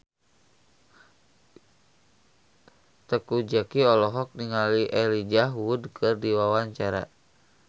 Teuku Zacky olohok ningali Elijah Wood keur diwawancara